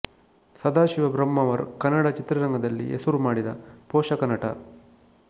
ಸದಾಶಿವ ಬ್ರಹ್ಮಾವರ್ ಕನ್ನಡ ಚಿತ್ರರಂಗದಲ್ಲಿ ಹೆಸರು ಮಾಡಿದ ಪೋಷಕ ನಟ